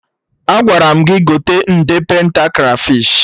Agwara m gị gote nde penta krafish!